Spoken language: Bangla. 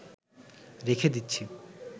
রেখে দিচ্ছি